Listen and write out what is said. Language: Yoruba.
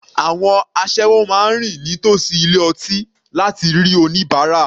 Àwọn asẹ́wọ máa rìn ní tòsí ilé ọtí láti rí oníbárà.